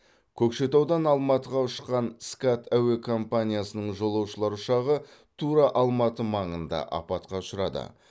көкшетаудан алматыға ұшқан скат әуе компаниясының жолаушылар ұшағы тура алматы маңында апатқа ұшырады